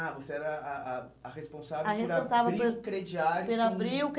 Ah, você era a a a responsável por abrir o crediário com... A responsável por pelo abrir o